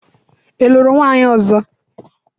i luru nwunye ozo?